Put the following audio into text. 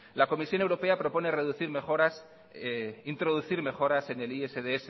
la comisión europea propone introducir mejoras en el isds